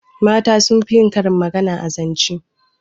Mata sun fi yin karin magana a zance